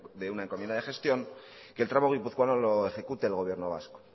de una encomienda de gestión que el tramo guipuzcoano lo ejecute el gobierno vasco